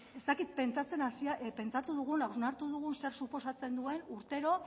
ez dakit hausnartu dugun zer suposatzen duen urtero